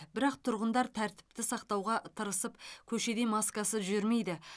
бірақ тұрғындар тәртіпті сақтауға тырысып көшеде маскасыз жүрмейді